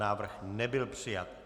Návrh nebyl přijat.